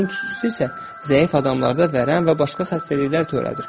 Papirosun tüstüsü isə zəif adamlarda vərəm və başqa xəstəliklər törədir.